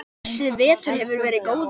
Þessi vetur hefur verið góður.